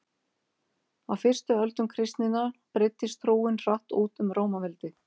á fyrstu öldum kristninnar breiddist trúin hratt út um rómaveldi